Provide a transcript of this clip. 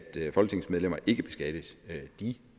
folketingsmedlemmer ikke beskattes de